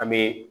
An bɛ